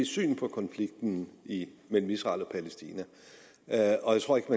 syn på konflikten mellem israel og palæstina og jeg tror ikke